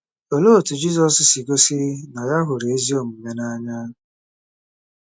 Olee otú Jizọs si gosi na ya hụrụ ezi omume n’anya?